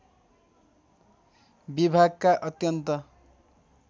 विभागका अत्यन्त